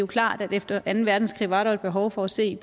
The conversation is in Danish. klart at efter anden verdenskrig var der et behov for at se